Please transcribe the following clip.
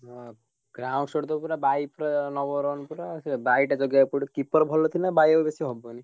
ହୁଁ ତ ପୁରା ନବ run ପୁରା ସେ ଟା ଜଗିଆକୁ ପଡିବ keeper ଭଲ ଥିଲେ ଆଉ ବେଶୀ ହବନି।